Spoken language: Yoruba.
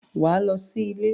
Wà á lọ sí ilé!